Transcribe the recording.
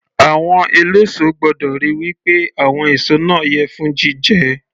Àwọn eléso gbọ́dọ̀ ríi wí pé àwọn èso náà yẹ fún jíjẹ